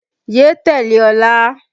Yé tẹ̀lé Ọlá!